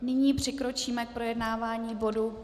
Nyní přikročíme k projednávání bodu